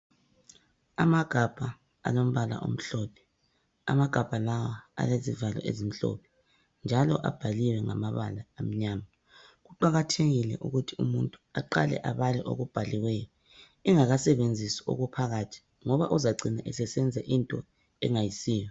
Amagabha alombala omhlophe amagabha lawa alezivalo ezimhlophe njalo abhaliwe ngamabala amnyama kuqakathekile ukuthi umuntu aqale abale okubhaliweyo engakasebenzisi okuphakathi ngoba umuntu uyacina esenza okungayisikho.